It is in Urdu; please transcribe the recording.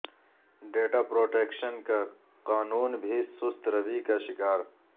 ڈیٹا پروٹیکشن کا قانون بھی سست روی کا شکار